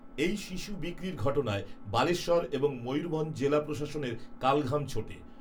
এই শিশু বিক্রির ঘটনায় বালেশ্বর, এবং, ময়ূরভঞ্জ জেলা প্রশাসনের কালঘাম ছোটে